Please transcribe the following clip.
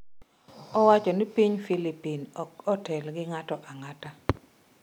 Owacho ni piny Filipin ok otel gi ng'ato ang'ata.